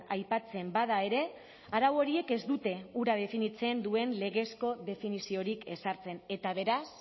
aipatzen bada ere arau horiek ez dute hura definitzen duen legezko definiziorik ezartzen eta beraz